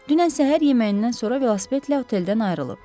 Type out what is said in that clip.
Dünən səhər yeməyindən sonra velosipedlə oteldən ayrılıb.